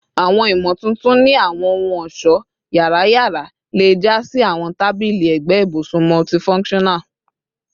Awọn imotuntun ni awọn ohun-ọṣọ yara yara le ja si awọn tabili ẹgbẹ ibusun multifunctional